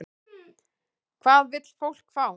Hvað vill fólk fá?